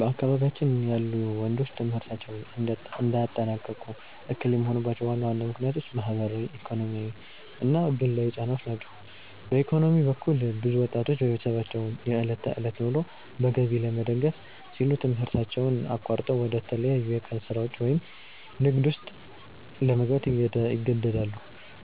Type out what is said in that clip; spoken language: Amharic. በአካባቢያችን ያሉ ወንዶች ትምህርታቸውን እንዳያጠናቅቁ እክል የሚሆኑባቸው ዋና ዋና ምክንያቶች ማኅበራዊ፣ ኢኮኖሚያዊና ግላዊ ጫናዎች ናቸው። በኢኮኖሚ በኩል፣ ብዙ ወጣቶች የቤተሰባቸውን የዕለት ተዕለት ኑሮ በገቢ ለመደገፍ ሲሉ ትምህርታቸውን አቋርጠው ወደ ተለያዩ የቀን ሥራዎች ወይም ንግድ ውስጥ ለመግባት ይገደዳሉ።